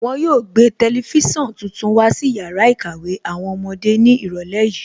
Wọn yóò gbé tẹlifísàn tuntun wá sí yàrá ìkàwé àwọn ọmọdé ní ìrọ̀lẹ́ yìí